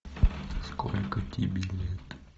сколько тебе лет